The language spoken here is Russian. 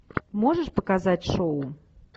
можешь показать шоу